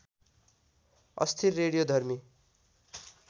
अस्थिर रेडियोधर्मी